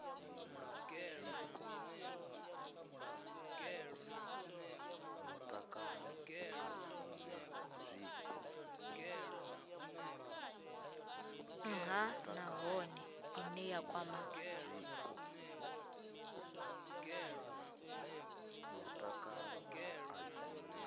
nha nahone ine ya kwama